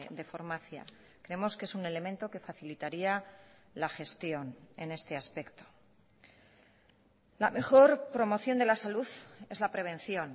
de farmacia creemos que es un elemento que facilitaría la gestión en este aspecto la mejor promoción de la salud es la prevención